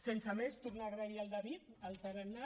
sense més tornar a agrair al david el tarannà